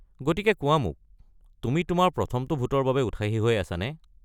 গতিকে কোৱা মোক, তুমি তোমাৰ প্ৰথমটো ভোটৰ বাবে উৎসাহী হৈ আছানে?